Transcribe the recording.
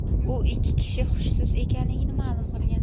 U ikki kishi hushsiz ekanligini ma’lum qilgan.